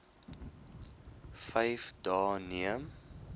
vyf dae neem